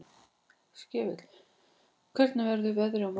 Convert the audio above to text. Skefill, hvernig verður veðrið á morgun?